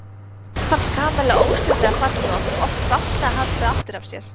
Nikka fannst Kamilla óstjórnlega falleg og átti oft bágt með að halda aftur af sér.